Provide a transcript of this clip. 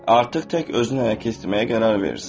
Artıq tək özünü ələ keçirməyə qərar verirsən.